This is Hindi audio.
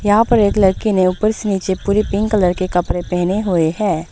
यहां पर एक लड़की ने ऊपर से नीचे पूरी पिंक कलर के कपड़े पहने हुए हैं।